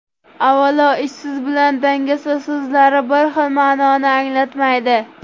Avvalo, ishsiz bilan dangasa so‘zlari bir xil ma’noni anglatmaydi.